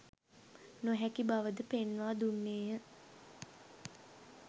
නොහැකි බවද පෙන්වා දුන්නේය.